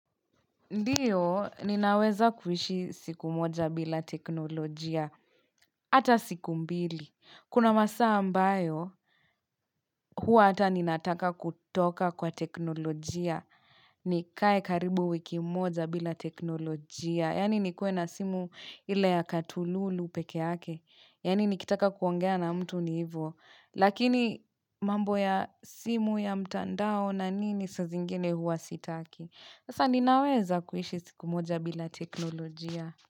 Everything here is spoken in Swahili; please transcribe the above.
Ndiyo, ninaweza kuishi siku moja bila teknolojia. Ata siku mbili. Kuna masaa ambayo, hua hata ninataka kutoka kwa teknolojia. Nikae karibu wiki moja bila teknolojia. Yaani nikue na simu ile ya katululu pekeake. Yaani nikitaka kuongea na mtu ni hivo. Lakini mambo ya simu ya mtandao na nini saa zingine huwa sitaki. Asa ninaweza kuishi sikumoja bila teknolojia.